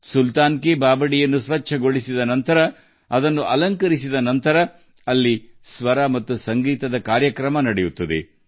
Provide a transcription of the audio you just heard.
ಸುಲ್ತಾನನ ಮೆಟ್ಟಿಲು ಬಾವಿಯನ್ನು ಸ್ವಚ್ಛಗೊಳಿಸಿದ ನಂತರ ಅದನ್ನು ಅಲಂಕರಿಸಿದ ಬಳಿಕ ಸಾಮರಸ್ಯ ಮತ್ತು ಸಂಗೀತದ ಕಾರ್ಯಕ್ರಮವು ನಡೆಯುತ್ತದೆ